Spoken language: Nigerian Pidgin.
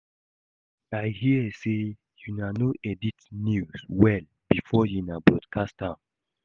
I hear say una no edit the news well before una broadcast am